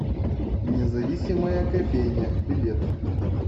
независимая кофейня билет